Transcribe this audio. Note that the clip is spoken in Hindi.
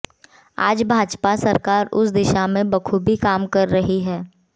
आज भाजपा सरकार उस दिशा में बखूबी काम कर रही है